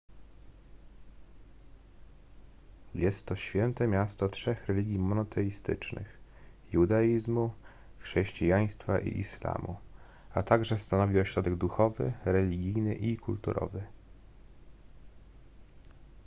jest to święte miasto trzech religii monoteistycznych judaizmu chrześcijaństwa i islamu a także stanowi ośrodek duchowy religijny i kulturowy